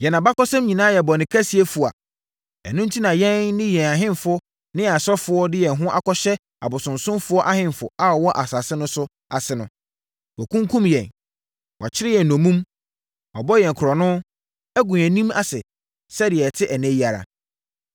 Yɛn abakɔsɛm nyinaa yɛ bɔne kɛseɛ fua. Ɛno enti na yɛn ne yɛn ahemfo ne yɛn asɔfoɔ de yɛn ho akɔhyɛ abosonsomfoɔ ahemfo a wɔwɔ asase no so ase no. Wɔakunkum yɛn, wɔakyere yɛn nnommum, wɔabɔ yɛn korɔno, agu yɛn anim ase sɛdeɛ yɛte ɛnnɛ yi ara.